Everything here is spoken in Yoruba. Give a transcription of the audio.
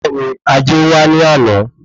Bẹ́ẹ̀ni, ajé wa ní àná